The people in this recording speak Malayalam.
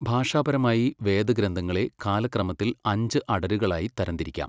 ഭാഷാപരമായി, വേദഗ്രന്ഥങ്ങളെ കാലക്രമത്തിൽ അഞ്ച് അടരുകളായി തരംതിരിക്കാം.